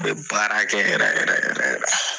A bɛ baarakɛ yɛrɛ yɛrɛ yɛrɛ yɛrɛ.